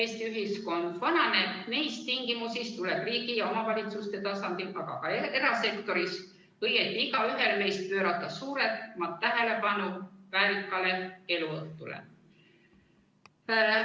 Eesti ühiskond vananeb ning neis tingimusis tuleb riigi ja omavalitsuste tasandil, aga ka erasektoris – õieti igaühel meist – pöörata suuremat tähelepanu inimese väärikale eluõhtule.